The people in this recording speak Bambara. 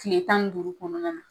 Tile tan ni duuru kɔnɔna na